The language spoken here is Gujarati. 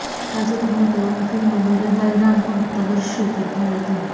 તાજેતરમાં તેઓની ફિલ્મ મેરે સાંઇ રામ પણ પ્રર્દિશત થઇ હતી